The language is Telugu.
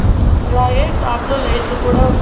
అలాగే టాప్ లో లైట్లు కూడా ఉన్--